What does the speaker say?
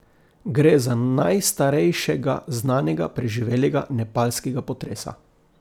Gre za najstarejšega znanega preživelega nepalskega potresa.